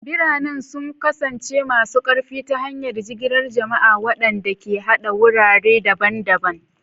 Biranen sun kasance masu ƙarfi ta hanyar jigilar jama'a, waɗanda ke haɗa wurare daban-daban.